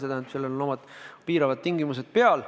See tähendab, et sellel on omad piiravad tingimused peal.